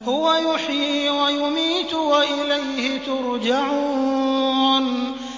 هُوَ يُحْيِي وَيُمِيتُ وَإِلَيْهِ تُرْجَعُونَ